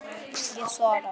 Ég svara.